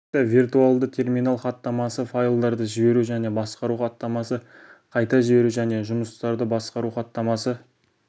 пошта виртуалды терминал хаттамасы файлдарды жіберу және басқару хаттамасы қайта жіберу және жұмыстарды басқару хаттамасы